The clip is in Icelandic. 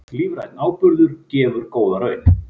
Lífrænn áburður gefur góða raun